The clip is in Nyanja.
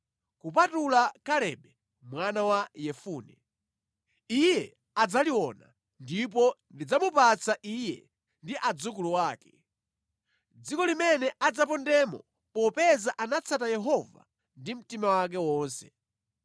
kupatula Kalebe mwana wa Yefune. Iye adzaliona, ndipo ndidzamupatsa iye ndi adzukulu ake, dziko limene adzapondamo popeza anatsata Yehova ndi mtima wake wonse.”